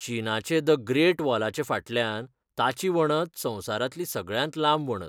चीनाचे the great वॉलाचे फाटल्यान ताची वणत संवसारांतली सगळ्यांत लांब वणत.